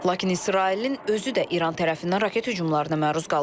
Lakin İsrailin özü də İran tərəfindən raket hücumlarına məruz qalıb.